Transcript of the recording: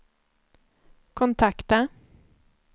kontakta